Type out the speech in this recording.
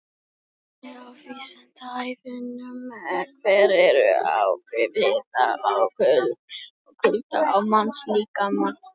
Frekara lesefni á Vísindavefnum: Hver eru áhrif hita og kulda á mannslíkamann?